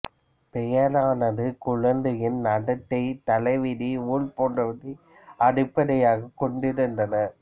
பெயரானது குழந்தையின் நடத்தை தலைவிதி ஊழ் போன்றவற்றை அடிப்படையாகக் கொண்டிருந்தன